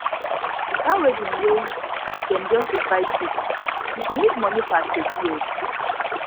dat wedding wey dem just invite you you go need moni for asoebi o